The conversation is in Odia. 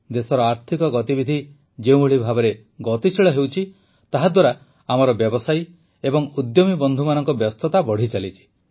ଦେଶରେ ଆର୍ଥିକ ଗତିବିଧି ଯେଉଁଭଳି ଭାବରେ ଗତିଶୀଳ ହେଉଛି ତାହାଦ୍ୱାରା ଆମର ବ୍ୟବସାୟୀ ଏବଂ ଉଦ୍ୟମୀ ବନ୍ଧୁମାନଙ୍କ ବ୍ୟସ୍ତତା ବଢ଼ିଚାଲିଛି